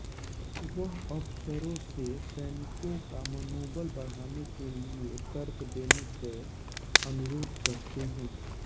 वह अफसरों से सैनिकों का मनोबल बढाने के लिये तर्क देने क अनुरोध करते हैं